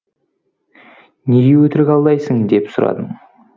неге өтірік алдайсың деп сұрадым